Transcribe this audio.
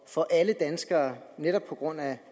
for alle danskere netop på grund af